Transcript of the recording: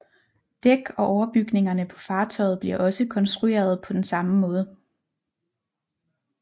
Dæk og overbygningerne på fartøjet bliver også konstruerede på den samme måde